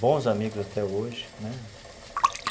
bons amigos até hoje, né?